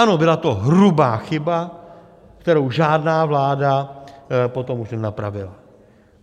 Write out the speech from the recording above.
Ano, byla to hrubá chyba, kterou žádná vláda potom už nenapravila.